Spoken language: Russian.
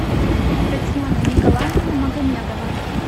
татьяна николаевна магомедова